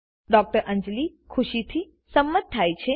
ડૉ અંજલી ખુશીથી સંમત થાય છે